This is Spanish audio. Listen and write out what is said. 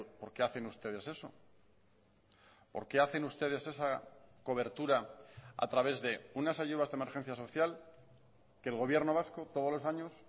por qué hacen ustedes eso por qué hacen ustedes esa cobertura a través de unas ayudas de emergencia social que el gobierno vasco todos los años